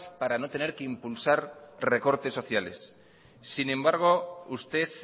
para no tener que impulsar recortes sociales sin embargo usted